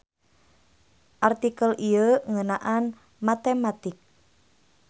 Artikel ieu ngeunaan matematik.